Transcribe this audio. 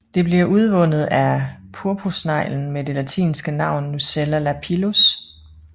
Det bliver udvundet af purpursneglen med det latinske navn Nucella lapillus